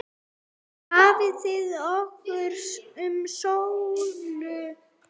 Hvað hafði orðið um Sólu?